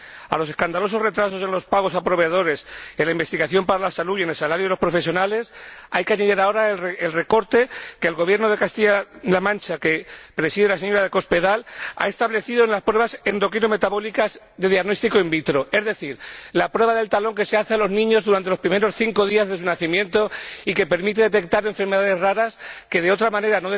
A los escandalosos retrasos en los pagos a proveedores y a los problemas en el ámbito de la investigación para la salud y el salario de los profesionales, hay que añadir ahora el recorte que el Gobierno de Castilla La Mancha, que preside la señora de Cospedal, ha establecido en las pruebas endocrino metabólicas de diagnóstico in vitro, es decir, la prueba del talón que se hace a los niños en los primeros cinco días desde su nacimiento y que permite detectar enfermedades raras que, de otra manera,